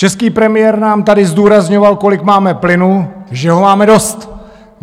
Český premiér nám tady zdůrazňoval, kolik máme plynu, že ho máme dost.